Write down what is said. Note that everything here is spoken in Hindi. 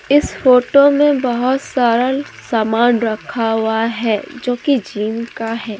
इस फोटो में बहुत सारा सामान रखा हुआ है जो कि जिम का है।